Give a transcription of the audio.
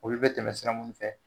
Olu bɛ tɛmɛ sira munnu fɛ